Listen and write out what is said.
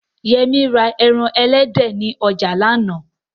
Yẹmí ra ẹran elédè ni ọjà lánàá